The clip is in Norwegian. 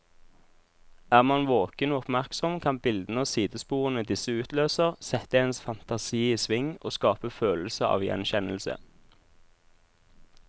Er man våken og oppmerksom, kan bildene og sidesporene disse utløser, sette ens fantasi i sving og skape følelse av gjenkjennelse.